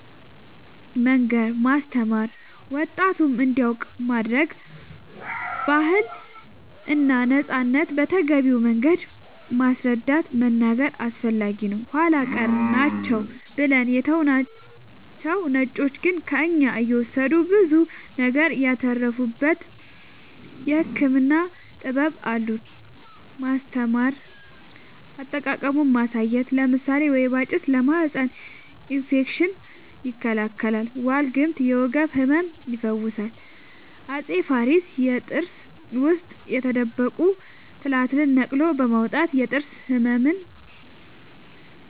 መንገር ማስተማር ወጣቱም እንዲያውቅ ማረግ ባህልና ነፃነትን በተገቢው መንገድ ማስረዳት መናገር አስፈላጊ ነው ኃላ ቀር ናቸው ብለን የተውናቸው ነጮቹ ግን ከእኛ እየወሰዱ ብዙ ነገር ያተረፉበት የህክምና ጥበብ አሉን ማስተማር አጠቃቀሙን ማሳየት ለምሳሌ ወይባ ጭስ ለማህፀን እፌክሽን ይከላከላል ዋልግምት የወገብ ህመም ይፈውሳል አፄ ፋሪስ የጥርስ ውስጥ የተደበቁ ትላትልን ነቅሎ በማውጣት የጥርስ ህመምን